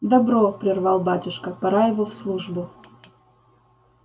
добро прервал батюшка пора его в службу